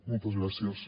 moltes gràcies